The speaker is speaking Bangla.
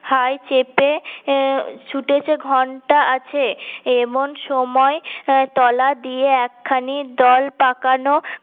হাই চেপে এর ছুটেছে ঘণ্টা আছে এমন সময় তলা দিয়ে এক খানি দল পাকানো